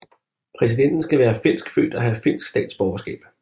Præsidenten skal være finskfødt og have finsk statsborgerskab